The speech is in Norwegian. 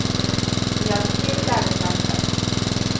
De hjalp til der det trengtes.